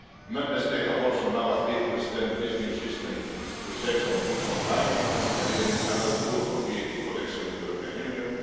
Member States have also now agreed to extend this new system to services and goods online, delivering another boost for VAT collection in the European Union.